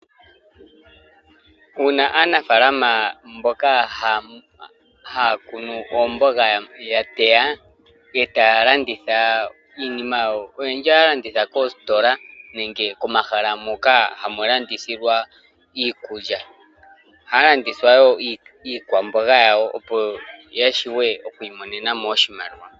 Uuna aanafaalama mboka haya kunu oomboga ya teya e taya landitha iinima yawo, oyendji ohaya landitha koositola nenge komahala moka hamu landithilwa iikulya. Ohaya landitha wo iikwamboga yawo opo ya shiwe oku imonena mo oshimaliwa.